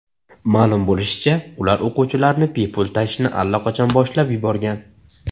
Ma’lum bo‘lishicha, ular o‘quvchilarni bepul tashishni allaqachon boshlab yuborgan.